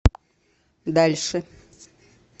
дальше